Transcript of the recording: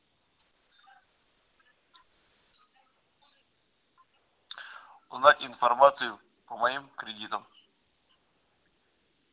узнать информацию по моим кредитам